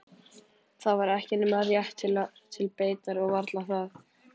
Það var ekki nema rétt til beitar og varla það.